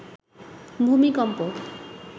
ভূমিকম্প